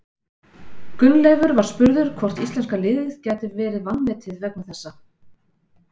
Gunnleifur var spurður hvort íslenska liðið gæti verið vanmetið vegna þessa.